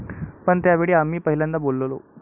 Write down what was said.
पण त्यावेळी आम्ही पहिल्यांदा बोललो'.